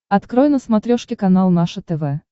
открой на смотрешке канал наше тв